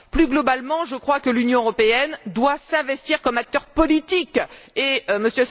Plus globalement, je crois que l'Union européenne doit s'investir comme acteur politique, et M.